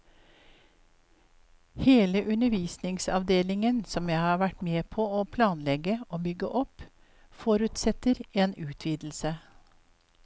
Hele undervisningsavdelingen som jeg har vært med på å planlegge og bygge opp, forutsetter en utvidelse.